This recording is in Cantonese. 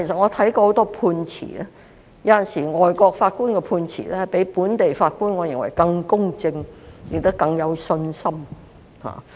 我看過很多判詞，我認為有時候海外法官的判詞比本地法官更公正，亦使我更加有信心。